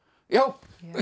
já